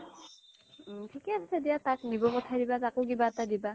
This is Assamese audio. থিকেই আছে দিয়া তাক দিব পথাই দিবা তাকো কিবা এটা দিবা